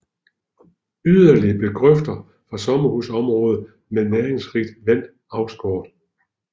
Yderligere blev grøfter fra sommerhusområder med næringsrigt vand afskåret